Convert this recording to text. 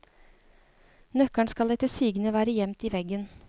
Nøkkelen skal etter sigende være gjemt i veggen.